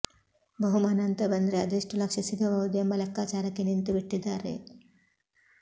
ಬಹುಮಾನ ಅಂತ ಬಂದ್ರೆ ಅದೆಷ್ಟು ಲಕ್ಷ ಸಿಗಬಹುದು ಎಂಬ ಲೆಕ್ಕಾಚಾರಕ್ಕೆ ನಿಂತುಬಿಟ್ಟಿದ್ದಾರೆ